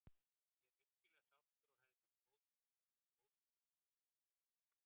Ég er virkilega sáttur og hef náð góðum tökum á sjálfum sér.